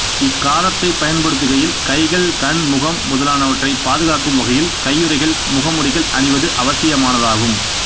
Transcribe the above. இக்காரத்தைப் பயன்படுத்துகையில் கைககள் கண் முகம் முதலானவற்றைப் பாதுக்காக்கும் வகைகள் கையுறைகள் முகமுடிகள் அணிவது அவசியமானதாகும்